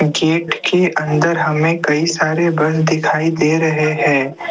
Gate के अंदर हमें कई सारे बस दिखाई दे रहे है।